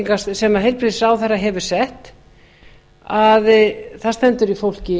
gjaldskrá sem heilbrigðisráðherra hefur sett að það stendur í fólki